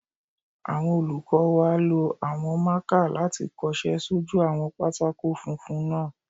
Àwọn olùkọ́ wa lo àwọn máàkà láti kọsẹ́ sójú àwọn pátákó funfun náà